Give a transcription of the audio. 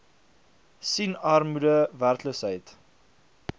sien armoede werkloosheid